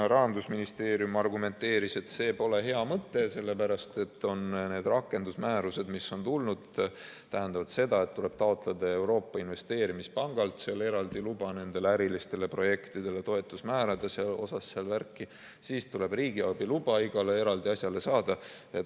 Rahandusministeerium argumenteeris, et see pole hea mõte, sellepärast et rakendusmäärused, mis on tulnud, tähendavad seda, et tuleb taotleda Euroopa Investeerimispangalt eraldi luba nendele ärilistele projektidele toetusmäärade kohta, siis tuleb riigiabi luba igale eraldi asjale saada.